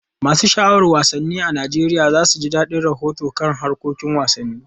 Masu sha'awar wasanni a Najeriya za su ji dadin rahotanni kan harkokin wasanni.